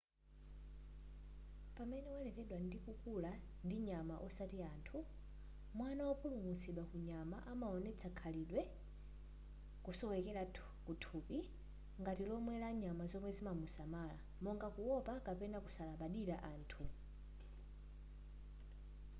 pamene waleredwa ndikukula ndi nyama osati anthu mwana wopulumutsidwa ku nyama amaonetsa khalidwe kusowekera kuthupi ngati lomwe la nyama zomwe zimamusamala monga kuopa kapena kusalabadira anthu